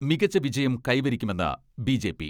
മികച്ച വിജയം കൈവരിക്കുമെന്ന് ബി.ജെ.പി.